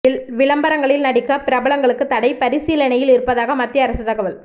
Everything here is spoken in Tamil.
விளம்பரங்களில் நடிக்க பிரபலங்களுக்கு தடை பரிசீலனையில் இருப்பதாக மத்திய அரசு தகவல்